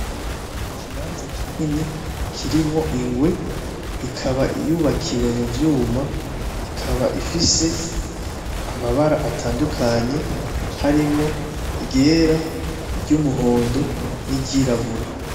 Ikibanza kinini kirimwo ingwe ikaba yubakiye muvyuma ikaba ifise mabara atandukanye harimwo, iryera iry'umuhondo, niryirabura.